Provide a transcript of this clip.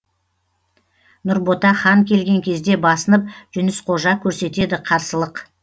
нұрбота хан келген кезде басынып жүніс қожа көрсетеді қарсылық